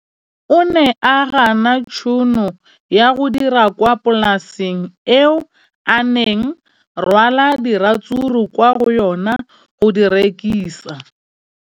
O ne a gana tšhono ya go dira kwa polaseng eo a neng rwala diratsuru kwa go yona go di rekisa.